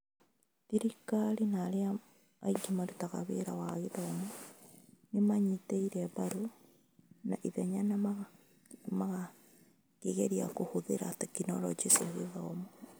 Thirikari na arĩa angĩ marutaga wĩra wa gĩthomo nĩ maanyitire mbaru na ihenya na makĩgeria kũhũthĩra tekinoronjĩ cia gĩthomo (EdTech).